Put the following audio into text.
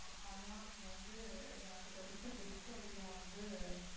ஹ்ம்ம் அதான் நீங்க வந்து எனக்கு தெயர்ந்சு best idea வந்து,